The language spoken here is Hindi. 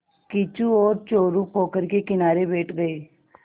किच्चू और चोरु पोखर के किनारे बैठ गए